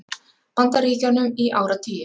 Bandaríkjunum í áratugi.